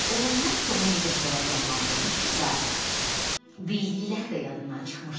Olanlar Tomu necə həyəcanlandırmışdısa, bildikləri də yadından çıxmışdı.